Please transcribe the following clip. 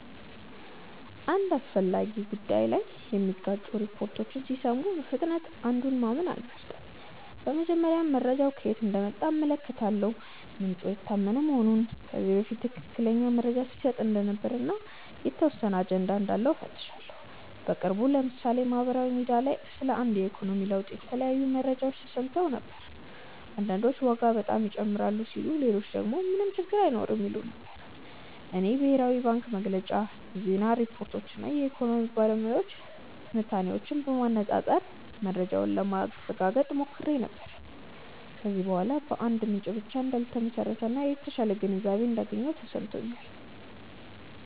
አንድ አስፈላጊ ጉዳይ ላይ የሚጋጩ ሪፖርቶችን ሲሰሙ በፍጥነት አንዱን ማመን አልመርጥም። በመጀመሪያ መረጃው ከየት እንደመጣ እመለከታለሁ፤ ምንጩ የታመነ መሆኑን፣ ከዚህ በፊት ትክክለኛ መረጃ ሲሰጥ እንደነበር እና የተወሰነ አጀንዳ እንዳለው እፈትሻለሁ። በቅርቡ ለምሳሌ በማህበራዊ ሚዲያ ላይ ስለ አንድ የኢኮኖሚ ለውጥ የተለያዩ መረጃዎች ተሰምተው ነበር። አንዳንዶች ዋጋ በጣም ይጨምራል ሲሉ ሌሎች ደግሞ ምንም ችግር አይኖርም ይሉ ነበር። እኔ የብሔራዊ ባንክ መግለጫ፣ የዜና ሪፖርቶች እና የኢኮኖሚ ባለሙያዎች ትንታኔዎችን በማነፃፀር መረጃውን ለማረጋገጥ ሞክሬ ነበር። ከዚያ በኋላ በአንድ ምንጭ ብቻ እንዳልተመሰረተ እና የተሻለ ግንዛቤ እንዳገኘሁ ተሰምቶኛል።